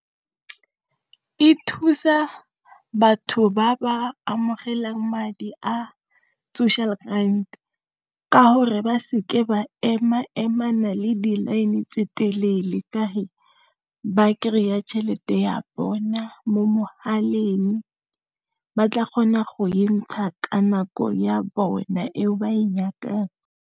E thusa batho ba ba amogelang madi a social grand ka gore ba seke ba ema-emana le di-line tse le di telele ka ba kry-a tšhelete ya bona mo mogaleng ba tla kgona go e ntsha ka nako ya bona eo ba e nyakang.